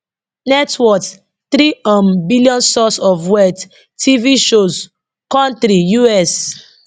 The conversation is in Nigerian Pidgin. net worth three um billion source of wealth tv shows Country U.S